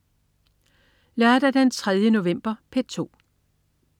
Lørdag den 3. november - P2: